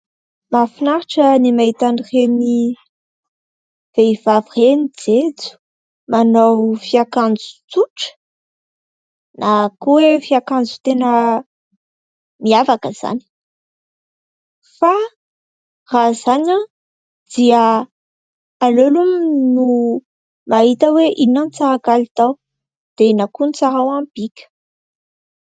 Mahafinaritra ny mahita an'ireny vehivavy ireny jejo, manao fiakanjo tsotra na koa hoe fiakanjo miavaka izany. Fa raha izany dia aleo aloha mahita hoe inona no tsara kalitao dia inona ihany koa ny tsara ho an'ny bika.